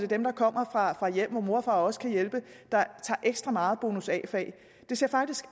dem der kommer fra hjem hvor mor og far også kan hjælpe der tager ekstra mange bonus a fag det ser faktisk